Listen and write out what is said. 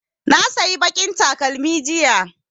Na sayi baƙin takalmi jiya